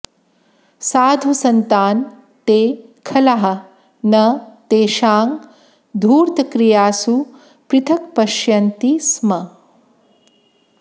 साधुसन्तान् ते खलाः न तेषां धूर्तक्रियासु पृथक्पश्यन्ति स्म